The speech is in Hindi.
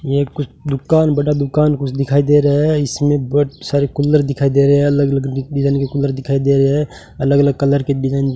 ये कुछ दुकान बड़ा दुकान कुछ दिखाई दे रहा है इसमें बहुत सारे कूलर दिखाई दे रहे हैं अलग अलग डिजाइन के कूलर दिखाई दे रहे हैं अलग अलग कलर के डिजाइन --